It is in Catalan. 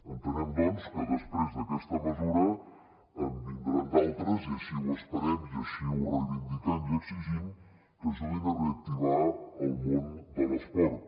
entenem doncs que després d’aquesta mesura en vindran d’altres i així ho esperem i així ho reivindiquem i exigim que ajudin a reactivar el món de l’esport